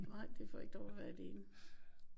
Nej de får ikke lov at være alene